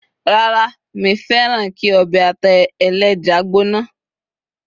rara mi fẹràn ki obe ata eleja gbóná